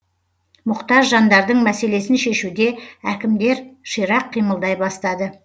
мұқтаж жандардың мәселесін шешуде әкімдер ширақ қимылдай бастады